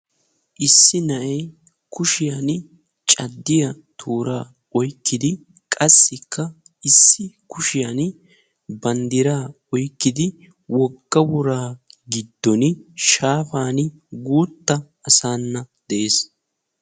Issi na'ay kushshiyan caddiyaa toora oykkidi, qassikka issi kushiyaan banddiraa oykkidi wogga woraa giddon shaafan guuttassana de'ees